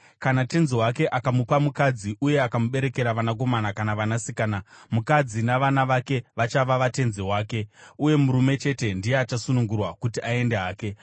Kana tenzi wake akamupa mukadzi uye akamuberekera vanakomana kana vanasikana, mukadzi navana vake vachava vatenzi wake, uye murume chete ndiye achasunungurwa kuti aende hake.